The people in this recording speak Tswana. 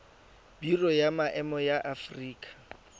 biro ya maemo ya aforika